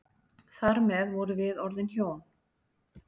Þar með vorum við orðin hjón.